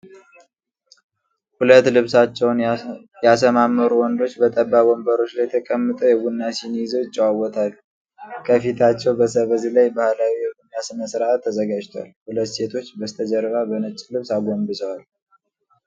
ሁለት ልብሳቸውን ያሰማመሩ ወንዶች በጠባብ ወንበሮች ላይ ተቀምጠው የቡና ሲኒ ይዘው ይጨዋወታሉ። ከፊታቸው በሰበዝ ላይ ባህላዊ የቡና ሥነ-ሥርዓት ተዘጋጅቷል። ሁለት ሴቶች በስተጀርባ በነጭ ልብስ አጎንብሰዋል።